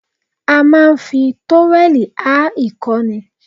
A máa ń fi tówẹ̀lì há ìkọ́ ni